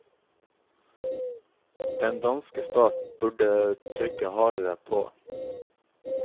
Den danske stat burde trykke hardere på.